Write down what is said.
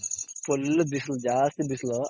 full ಬಿಸ್ಲು ಜಾಸ್ತಿ ಬಿಸ್ಲು